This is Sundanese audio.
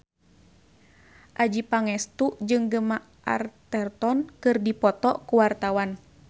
Adjie Pangestu jeung Gemma Arterton keur dipoto ku wartawan